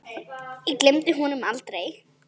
Ég gleymi honum aldrei.